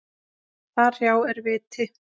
Þar hjá er viti.